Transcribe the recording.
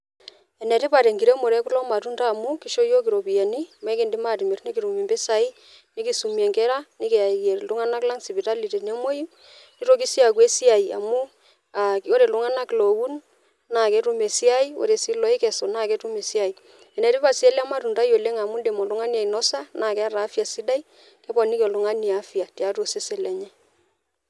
Enetipat enakiremore okulo matunda amu kisho yiok iropiyiani amu enkidim atimir nikitum impisai nikiumie inkera , nikiyayie iltunganak lang sipitali tenemwoyu , nitoki sii au esiai amu ore iltunganak loun naa ketum esiai , ore sii lokesu naa ketum esiai . Enetipat sii elematundai amu indim oltungani ainosa naa keeta afya , keponiki oltungani afya tiatua osesen lenye.